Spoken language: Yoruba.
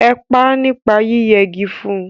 Ẹ pá nípa yí yẹ gi fun!